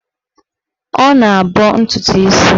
Ọ na-abọ ntụtụ isi ya.